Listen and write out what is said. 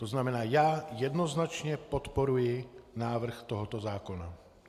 To znamená, já jednoznačně podporuji návrh tohoto zákona.